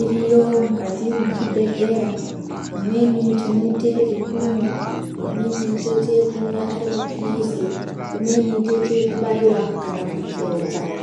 iriyo mukati mwechibhedhlera imweni tinoite ekumwa imweni tinoite ekumwa ari mapilizi imweni tinoite ekubaiwa kana kudzodza.